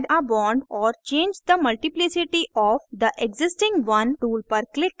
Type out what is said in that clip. add a bond or change the multiplicity of the existing one tool पर click करें